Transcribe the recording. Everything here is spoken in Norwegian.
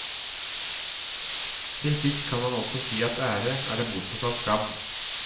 Til sist kan man også si at ære er det motsatte av skam.